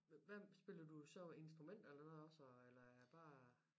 Hvem spiller du så instrumenter eller hvad også eller er det bare